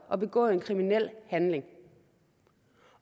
og begået en kriminel handling